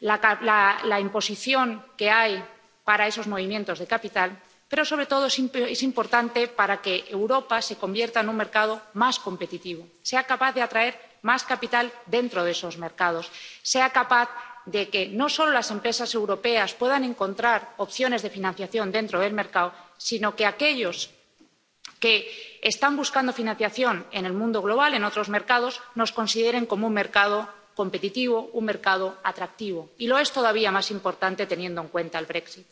la imposición que existe para esos movimientos de capital, pero, sobre todo, es importante para que Europa se convierta en un mercado más competitivo, sea capaz de atraer más capital dentro de esos mercados, sea capaz de que, no solo las empresas europeas puedan encontrar opciones de financiación dentro del mercado, sino que aquellos que están buscando financiación en el mundo global, en otros mercados, nos consideren como un mercado competitivo, un mercado atractivo. Y es todavía más importante teniendo en cuenta el Brexit